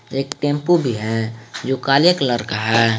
एक टेंपू भी है जो काले कलर का है।